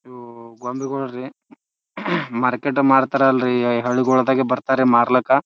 ಇವು ಗೊಂಬಿಗೋಳ್ ರೀ ಮಾರ್ಕೆಟ್ ಮಾರ್ತಾರ್ ಅಲ್ರ್ಲಿ ಹಳ್ಳಿಗೊಳ್ದಾಗ ಬರ್ತಾರೆ ಮಾರ್ಲಕ --